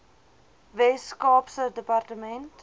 wes kaapse departement